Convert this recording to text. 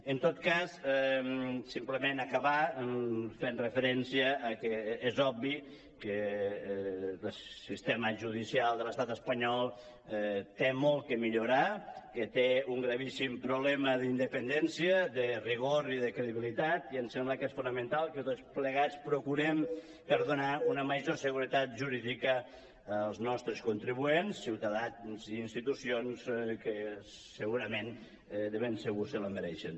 en tot cas simplement acabar fent referència que és obvi que el sistema judicial de l’estat espanyol té molt que millorar que té un gravíssim problema d’indepen·dència de rigor i de credibilitat i em sembla que és fonamental que tots plegats pro·curem per donar una major seguretat jurídica als nostres contribuents ciutadans i institucions que segurament de ben segur se la mereixen